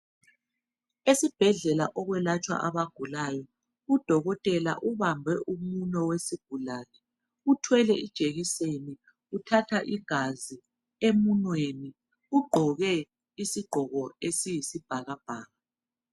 Esibhedlela okwelatshwa abagulayo, udokotela ubambe umunwe wesigulane, uthwele ijekiseni, uthatha igazi emunweni. Ugqoke isigqoko esiyisibhakabhaka.